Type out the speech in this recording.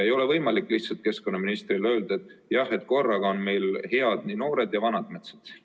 Ei ole võimalik keskkonnaministril lihtsalt öelda, et jah, korraga on head nii noored kui ka vanad metsad.